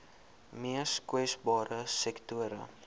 mees kwesbare sektore